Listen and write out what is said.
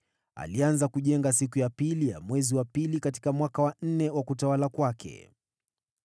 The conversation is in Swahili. Alianza kujenga siku ya pili ya mwezi wa pili katika mwaka wa nne wa utawala wake.